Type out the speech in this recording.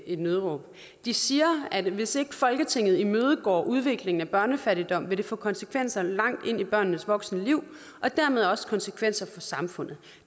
et nødråb de siger at hvis ikke folketinget imødegår udviklingen af børnefattigdom vil det få konsekvenser langt ind i børnenes voksne liv og dermed også konsekvenser for samfundet